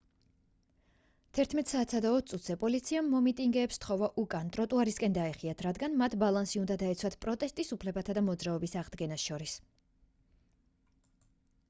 11:20 საათზე პოლიციამ მომიტინგეებს სთხოვა უკან ტროტუარისკენ დაეხიათ რადგან მათ ბალანსი უნდა დაეცვათ პროტესტის უფლებასა და მოძრაობის აღდგენას შორის